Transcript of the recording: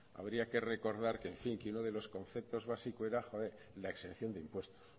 habría que recordar que en fin que uno de los conceptos básico era la exención de impuestos